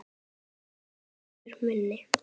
Maður minn.